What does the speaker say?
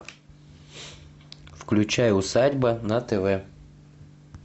включай усадьба на тв